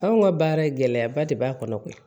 Anw ka baara gɛlɛyaba de b'a kɔnɔ koyi